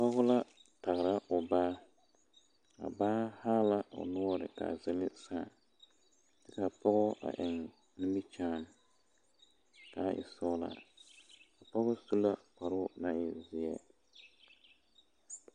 Pɔge la tagra o baa a baa haa la o noɔre ka a zele saa ka a pɔge a eŋ nimikyaani ka a e sɔglaa a pɔge su la kparoo naŋ e zeɛ.